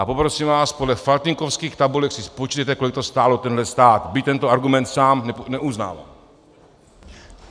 A poprosím vás, podle faltýnkovských tabulek si spočítejte, kolik to stálo tenhle stát, byť tento argument sám neuznávám.